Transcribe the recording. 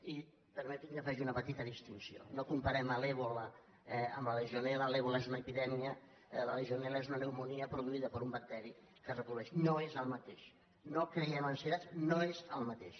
i permeti’m que faci una petita distinció no comparem l’ebola amb la legionel·la l’ebola és una epidèmia la legionel·la és una pneumònia produïda per un bacteri que es reprodueix no és el mateix no creem ansietats no és el mateix